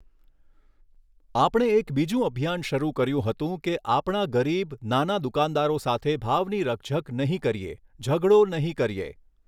આપણે એક બીજું અભિયાન શરૂ કર્યું હતું કે આપણા ગરીબ, નાના દુકાનદારો સાથે ભાવની રકઝક નહીં કરીએ, ઝઘડો નહીં કરીએ.